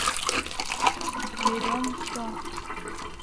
берем все